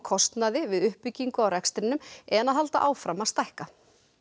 kostnaði við uppbyggingu á rekstrinum en að halda áfram að stækka